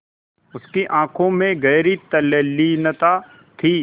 उसकी आँखों में गहरी तल्लीनता थी